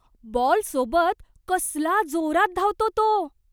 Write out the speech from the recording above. बॉलसोबत कसला जोरात धावतो तो!